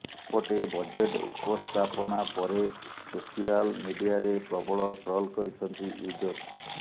ସେପଟେ ବଜେଟ ଉପସ୍ଥାପନା ପରେ ସୋସିଆଲ ମିଡିଆରେ ପ୍ରବଳ ଟ୍ରଲ କରିଛନ୍ତି ୟୁଜର୍ସ